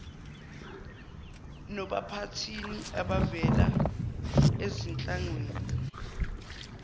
nophathini abavela ezinhlanganweni